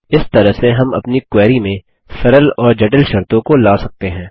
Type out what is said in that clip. इस तरह से हम अपनी क्वेरी में सरल और जटिल शर्तों को ला सकते हैं